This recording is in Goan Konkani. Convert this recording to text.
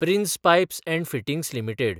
prince pipes & fittings limited